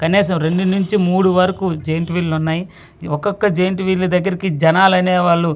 కనీసం రెండు నుంచి మూడు వరకు జెయింట్విల్ ఉన్నాయ్ ఒక్కొక్క జెయింట్విల్ దెగ్గరికి జనాలు అనే వాళ్ళు ఎక్కు--